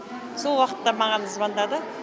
сол уақытта маған звонады